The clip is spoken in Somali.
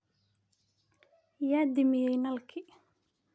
Yaa damiyey nalki?